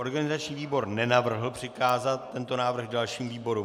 Organizační výbor nenavrhl přikázat tento návrh dalším výborům.